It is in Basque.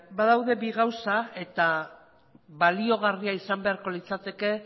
badaude bi gauza eta baliagarria izan beharko litzateke